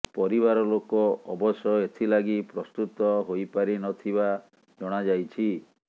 ପରିବାର ଲୋକ ଅବଶ୍ୟ ଏଥିଲାଗି ପ୍ରସ୍ତୁତ ହୋଇପାରି ନଥିବା ଜଣାଯାଇଛି